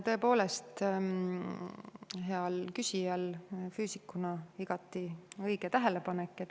Tõepoolest, heal küsijal füüsikuna oli igati õige tähelepanek.